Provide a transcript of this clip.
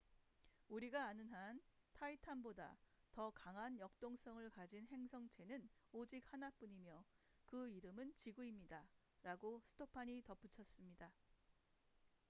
"우리가 아는 한 타이탄titan보다 더 강한 역동성을 가진 행성체는 오직 하나뿐이며 그 이름은 지구입니다""라고 스토판stofan이 덧붙였습니다.